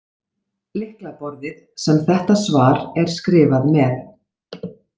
Lyklaborðið sem þetta svar er skrifað með.